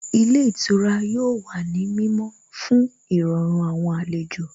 Ilé ìtura yóò wà ní mímọ́ fún Ìrọ̀rùn àwọn àlejò